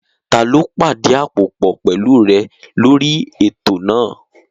Taló pàdí àpòpọ̀ pẹ̀lú rẹ̀ lórí ètò náà?